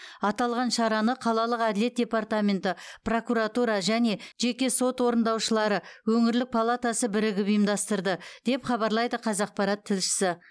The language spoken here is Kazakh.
аталған шараны қалалық әділет департаменті прокуратура және жеке сот орындаушылары өңірлік палатасы бірігіп ұйымдастырды деп хабарлайды қазақпарат тілшісі